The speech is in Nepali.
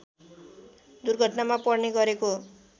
दुर्घटनामा पर्ने गरेको